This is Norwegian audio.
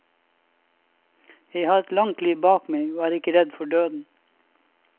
Jeg har et langt liv bak meg, og er ikke redd for døden.